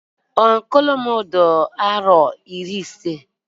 Ọnkụlụ m di aro iri isii.